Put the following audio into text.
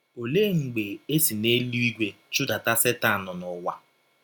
Ọlee mgbe e si n’elụigwe chụdata Setan n’ụwa?